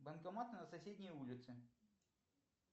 банкомат на соседней улице